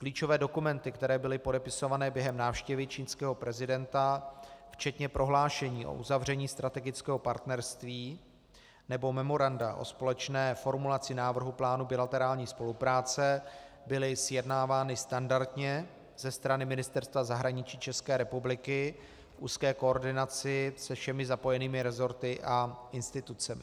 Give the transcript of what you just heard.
Klíčové dokumenty, které byly podepisované během návštěvy čínského prezidenta, včetně prohlášení o uzavření strategického partnerství nebo memoranda o společné formulaci návrhu plánu bilaterární spolupráce, byly sjednávány standardně ze strany Ministerstva zahraničí České republiky v úzké koordinaci se všemi zapojenými resorty a institucemi.